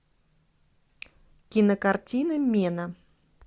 кинокартина мена